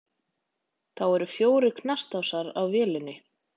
Þá eru fjórir knastásar á vélinni.